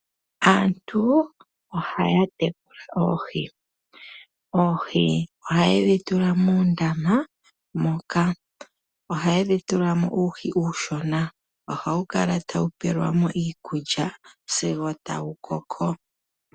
Aantu ohaa tekula oohi. Oohi ohaye dhi tula mondama moka. Ohaye dhi tula mo manga oonshona taye dhi pele mo iikulya sigo dha koko.